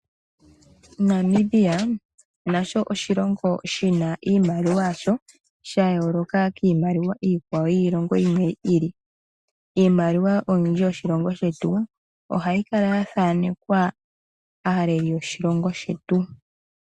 Namibia nasho oshilongo shina iimaliwa yasho, ya yooloka kiimaliwa yiilongo yilwe. Iimaliwa yoshilongo shetu olwindji ohayi kala ya thanekwa aaleli yoshilongo shetu.